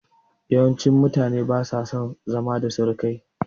Yawancin mutane ba su son zama da surukai